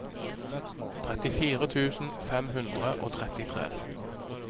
trettifire tusen fem hundre og trettitre